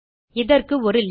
இதற்கு ஒரு லிங்க்